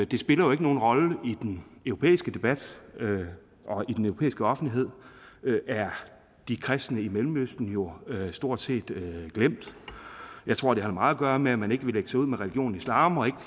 det spiller ikke nogen rolle i den europæiske debat og i den europæiske offentlighed er de kristne i mellemøsten jo stort set glemt jeg tror det har meget at gøre med at man ikke vil lægge sig ud med religionen islam og ikke